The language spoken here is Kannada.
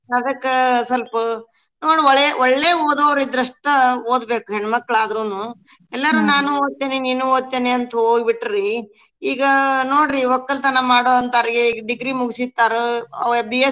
ಅದ್ಕ ಸ್ವಲ್ಪ ನೋಡ್ ಒಳೆ ಒಳ್ಳೇ ಓದೋರಿದ್ರ ಅಸ್ಟ ಓದ್ಬೇಕ ಹೆಣ್ಮಕ್ಳ್ ಆದ್ರೂನು ಇಲ್ಲಾರ ನಾನೂ ಓದ್ತೇನಿ ನೀನೂ ಓದ್ತೇನಿ ಅಂತೇಳಿ ಹೋಗ್ಬಿಟ್ರರೀ ಈಗ ನೋಡ್ರಿ ವಕ್ಕಲ್ತನ ಮಾಡೋಹಂತೋರ್ಗೆ ಈಗ degree ಮುಗ್ಸಿರ್ತಾರು.